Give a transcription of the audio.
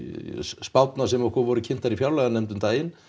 spárnar sem okkur voru kynntar í fjárlaganefnd um daginn